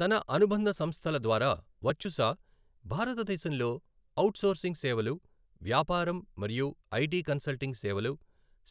తన అనుబంధ సంస్థల ద్వారా వర్చుసా భారతదేశంలోఔట్ సోర్సింగ్ సేవలు, వ్యాపారం మరియు ఐటి కన్సల్టింగ్ సేవలు,